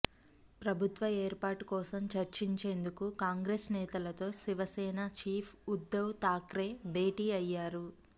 ప్రభుత్వ ఏర్పాటు కోసం చర్చించేందుకు కాంగ్రెస్ నేతలతో శివసేన చీఫ్ ఉద్దవ్ థాక్రే భేటీ అయ్యారు